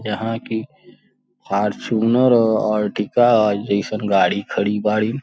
यहाँ की फॉर्च्यूनर और अर्टिगा आ जइसन गाड़ी खड़ी बाड़ी।